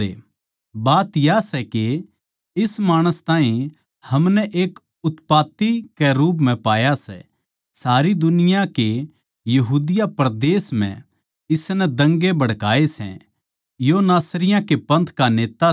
बात या सै के इस माणस ताहीं हमनै एक उत्पाती के रूप म्ह पाया सै सारी दुनिया के यहूदिया परदेस म्ह इसनै दंगे भड़काए सै यो नासरियाँ के पंथ का नेता सै